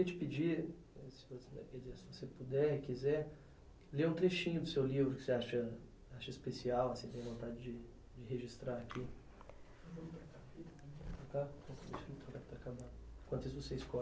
Eu queria te pedir, quer dizer, se você puder, quiser, ler um trechinho do seu livro que você acha acha especial, assim, que você tem vontade de de registrar aqui. Enquanto isso você escolhe